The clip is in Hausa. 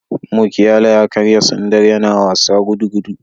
Mukiala ya karya sandar yana wasa gudugudu